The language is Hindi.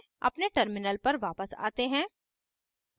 अपने terminal पर वापस आते हैं